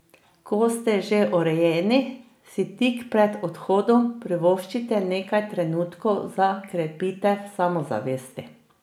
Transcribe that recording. Ko ste že urejeni, si tik pred odhodom privoščite nekaj trenutkov za krepitev samozavesti.